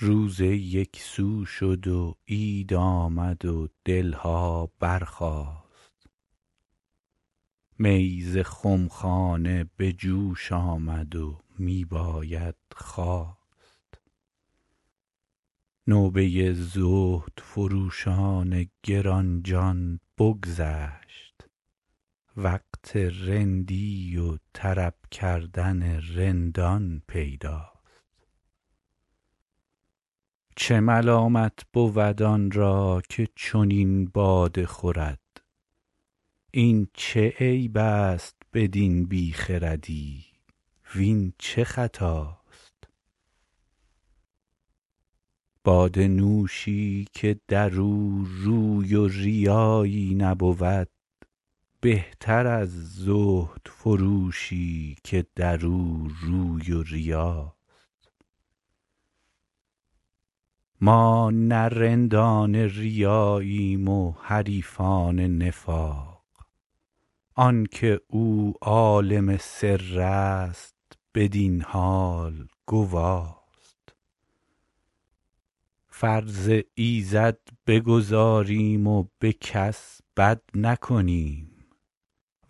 روزه یک سو شد و عید آمد و دل ها برخاست می ز خم خانه به جوش آمد و می باید خواست نوبه زهدفروشان گران جان بگذشت وقت رندی و طرب کردن رندان پیداست چه ملامت بود آن را که چنین باده خورد این چه عیب است بدین بی خردی وین چه خطاست باده نوشی که در او روی و ریایی نبود بهتر از زهدفروشی که در او روی و ریاست ما نه رندان ریاییم و حریفان نفاق آن که او عالم سر است بدین حال گواست فرض ایزد بگزاریم و به کس بد نکنیم